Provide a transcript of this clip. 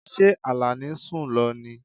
Ṣé Alani sun lọ ní?